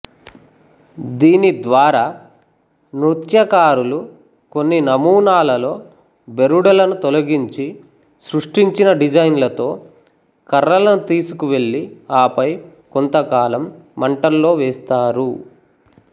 దీని ద్వారా నృత్యకారులు కొన్ని నమూనాలలో బెరడులను తొలగించి సృష్టించిన డిజైన్లతో కర్రలను తీసుకువెళ్ళి ఆపై కొంతకాలం మంటల్లో వేస్తారు